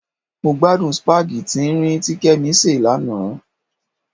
Mo gbádùn sípágì tín-ín-rín tí Kẹ́mi sè lánàá.